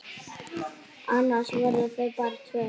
Annars voru þau bara tvö.